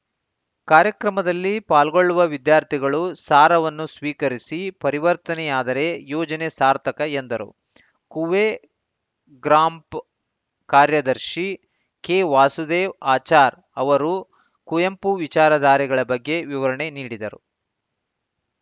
ಕಾರ್ಯಕ್ರಮದಲ್ಲಿ ಪಾಲ್ಗೊಳ್ಳುವ ವಿದ್ಯಾರ್ಥಿಗಳು ಸಾರವನ್ನು ಸ್ವೀಕರಿಸಿ ಪರಿವರ್ತನೆಯಾದರೆ ಯೋಜನೆ ಸಾರ್ಥಕ ಎಂದರು ಕೂವೆ ಗ್ರಾಂಪ್ ಕಾರ್ಯದರ್ಶಿ ಕೆವಾಸುದೇವ್‌ ಆಚಾರ್‌ ಅವರು ಕುವೆಂಪು ವಿಚಾರಧಾರೆಗಳ ಬಗ್ಗೆ ವಿವರಣೆ ನೀಡಿದರು